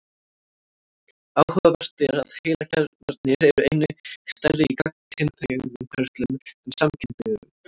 Áhugavert er að heilakjarnarnir eru einnig stærri í gagnkynhneigðum körlum en samkynhneigðum.